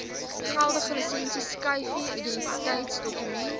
geldige lisensieskyfie identiteitsdokument